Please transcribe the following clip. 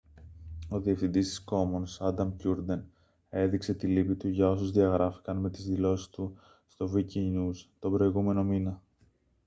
ο διευθυντής των commons άνταμ κιούρντεν έδειξε την λύπη του για όσους διαγράφηκαν με τις δηλώσεις του στο wikinews τον προηγούμενο μήνα